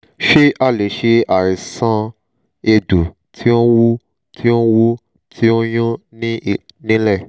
ṣé a lè ṣe àìsàn egbo ti o n wu ti o wu ti o nyun ni nílé?